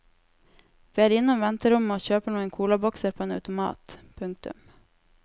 Vi er innom venterommet og kjøper noen colabokser på en automat. punktum